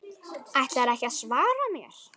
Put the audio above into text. Ætlarðu ekki að svara mér?